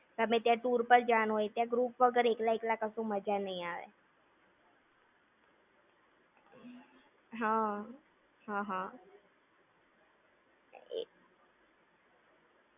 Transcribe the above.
ગમે તયાં tour પાર જવાનું હોય ત્યાં group વગર એકલા એકલા કશું મજા નઈ આવે. હમ્મ હા, હા.